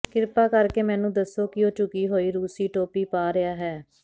ਕਿਰਪਾ ਕਰਕੇ ਮੈਨੂੰ ਦੱਸੋ ਕਿ ਉਹ ਝੁਕੀ ਹੋਈ ਰੂਸੀ ਟੋਪੀ ਪਾ ਰਿਹਾ ਹੈ